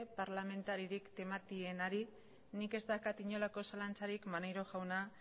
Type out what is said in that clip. parlamentaririk tematienarik nik ez daukat inolako zalantzarik maneiro jauna